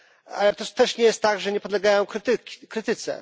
Ale to też nie jest tak, że nie podlegają krytyce.